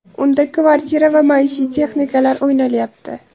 Unda kvartira va maishiy texnikalar o‘ynalyapti.